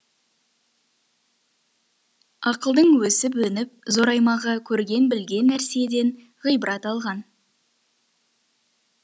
ақылдың өсіп өніп зораймағы көрген білген нәрседен ғибрат алған